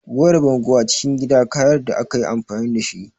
Wayar bango acikin gida kayarda ayi amfani dashi